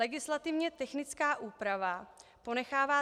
Legislativně technická úprava ponechává